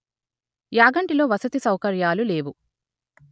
యాగంటిలో వసతి సౌకర్యాలు లేవు